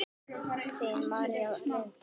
Þín, María Lind.